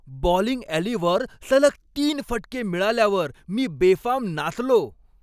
Bowling ॲलीवर सलग तीन फटके मिळाल्यावर मी बेफाम नाचलो.